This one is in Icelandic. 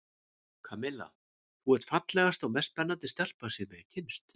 Kamilla, þú ert fallegasta og mest spennandi stelpa sem ég hef kynnst.